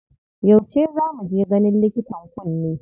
Yauce za mu je ganin likitan kunne?